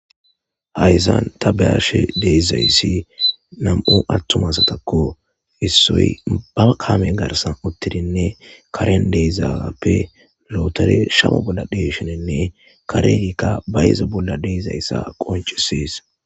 hayzan ta bayashe deezayssi nam7u attumasatakko issoy ba kaame garsan uttidinne karen deezaappe lootere shamo bolla deshenenne kareika bayyze bolla dezayssa qoncises